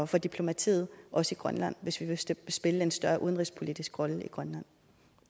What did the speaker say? for diplomatiet også i grønland hvis vi vil spille en større udenrigspolitisk rolle i grønland